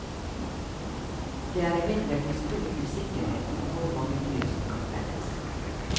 Det er imidlertid stor usikkerhet om hvor mange dyr som kan felles.